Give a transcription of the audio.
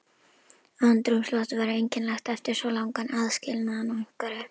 Andrúms loftið var einkennilegt eftir svo langan aðskilnað og einveru.